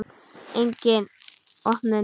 Engin opnun.